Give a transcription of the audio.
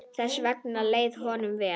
Þess vegna leið honum vel.